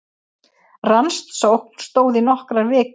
Rannsókn stóð í nokkrar vikur